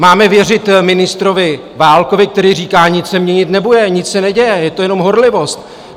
Máme věřit ministrovi Válkovi, který říká: Nic se měnit nebude, nic se neděje, je to jenom horlivost?